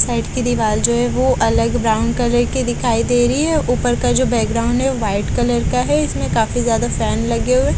side की दिवाल जो है वो अलग ब्राउन कलर के दिखाई दे रही है ऊपर का जो बैकग्राउंड है वाइट कलर का है इसमें काफी ज्यादा फैन लगे हुए --